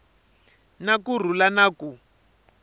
na ku rhula na ku